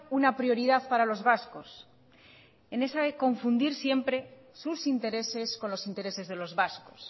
una prioridad para los vascos en esa de confundir siempre sus intereses con los intereses de los vascos